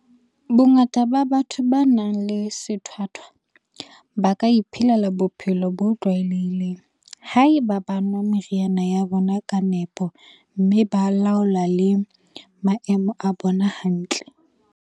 Bongata ba batho ba nang le sethwathwa ba ka iphelela bophelo bo tlwaelehileng haeba ba nwa meriana ya bona ka nepo mme ba laola le maemo a bona hantle.